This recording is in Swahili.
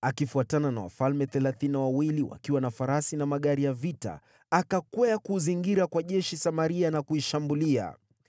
Akifuatana na wafalme thelathini na wawili wakiwa na farasi na magari ya vita, akakwea kuuzingira kwa jeshi Samaria na kuishambulia.